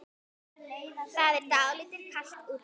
Það er dálítið kalt úti.